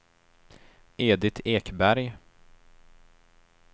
Edit Ekberg